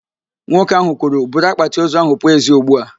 Nwoke ahụ kwuru, buru akpatị ozu ahụ pụọ ezi ugbu a!